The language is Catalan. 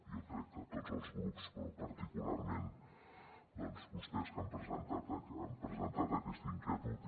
jo crec que amb tots els grups però particularment doncs amb vostès que han presentat aquesta inquietud